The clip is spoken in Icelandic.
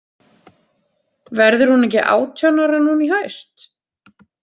Verður hún ekki átján ára núna í haust?